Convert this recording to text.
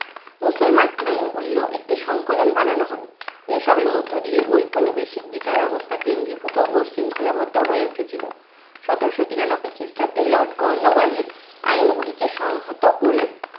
মুসলমান আইনগুলিরও একটি সংকলন বানানো হয়। এই সবের মধ্য দিয়ে ঐপনিবেশিক বিচার ব্যবস্থা কেন্দ্রীভূত ও শৃঙ্খলাবদ্ধ হয়ে উঠেছিল। সতেরশো তিরানব্বই খ্রিস্টাব্দে lord কর্নোওয়ালিস আইনগুলিকে সংহত করে